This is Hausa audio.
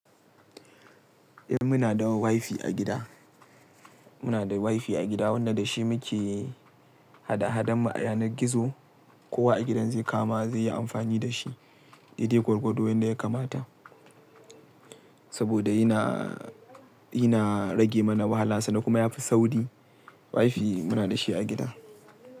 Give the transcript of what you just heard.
Eh muna da wifi a gida. Muna da wifi a gida wanda da shi muke hada-hadanmu a yanar gizo. Kowa a gidan zai kama zai yi amfani da shi. Daidai gwargwado yanda ya kamata saboda yana, yana rage mana wahala sannan kuma yafi sauri. Wifi muna da shi a gida.